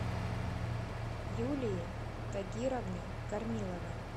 юлии тагировны корниловой